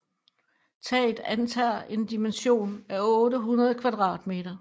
Taget antager en dimension af 800 kvadratmeter